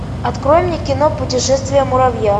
открой мне кино путешествие муравья